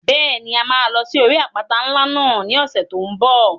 Bẹ́ẹ̀ni, a máa lọ sí orí àpáta ńlá náà ní ọ̀sẹ̀ tó n bọ̀